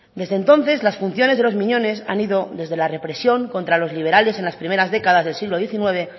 desde entonces las funciones de los miñones han ido desde la represión contra los liberales en las primeras décadas del siglo diecinueve